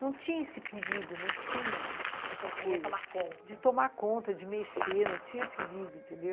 Não tinha esse perigo, não tinha essa coisa de tomar conta, de mexer, não tinha perigo, entendeu?